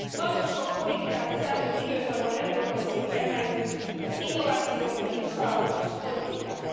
Nagyon sok politikát az elmúlt időszakban európai szintre emeltünk, az innovációt vagy a kisvállalkozás politikát.